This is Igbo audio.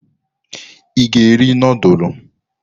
Ị ga-eri nudulu?